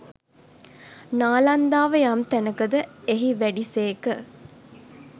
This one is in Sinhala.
නාලන්දාව යම් තැනක ද එහි වැඩි සේක.